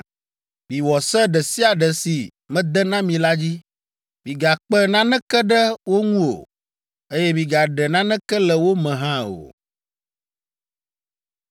“Miwɔ se ɖe sia ɖe si mede na mi la dzi. Migakpe naneke ɖe wo ŋu o, eye migaɖe naneke le wo me hã o.”